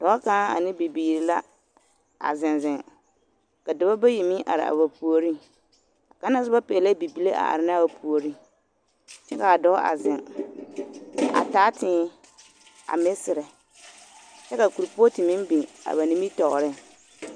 Dɔɔ kaŋ ane bibiiri la a zeŋ zeŋ ka dɔbɔ bayi meŋ are a ba puoriŋ, kaŋa na soba pɛgelɛɛ bibile a are ne a o puoriŋ kyɛ k'a dɔɔ a zeŋ a taa tēē a meserɛ kyɛ ka korepɔɔte meŋ biŋ a ba nimitɔɔreŋ.